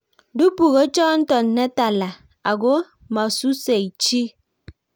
dubu ko chonto ne tala ako mosusei chii